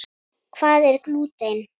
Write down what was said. Hvað er glúten?